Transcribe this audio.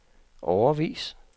årevis